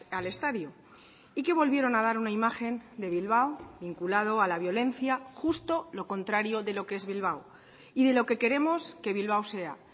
al estadio y que volvieron a dar una imagen de bilbao vinculado a la violencia justo lo contrario de lo que es bilbao y de lo que queremos que bilbao sea